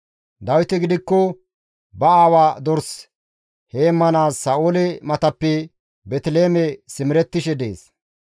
Dawiti gidikko ba aawa dors heemmanaas Sa7oole matappe Beeteliheeme simerettishe dees.